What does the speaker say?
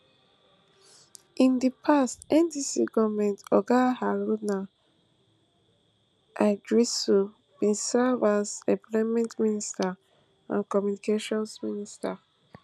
in di past ndc goment oga haruna iddrisu bin serve as employment minister and communications minister